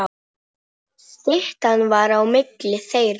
Styttan var á milli þeirra.